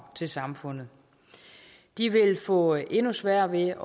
til samfundet de vil få endnu sværere ved at